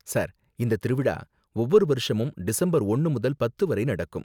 Sir, இந்த திருவிழா ஒவ்வொரு வருஷமும் டிசம்பர் ஒன்னு முதல் பத்து வரை நடக்கும்.